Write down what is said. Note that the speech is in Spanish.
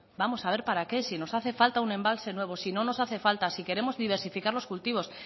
vamos a ver para qué si nos hace un embalse nuevo si no nos hace falta si queremos diversificar los cultivos